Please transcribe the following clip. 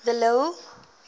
de lille